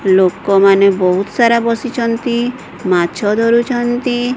ଲୋକମାନେ ବହୁତ ସାରା ବସିଛନ୍ତି ମାଛ ଧରୁଛନ୍ତି।